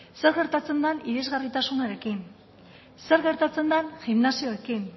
zer gertatzen den ihesgarritasunarekin zer gertatzen den gimnasioekin